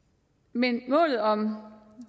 men målet om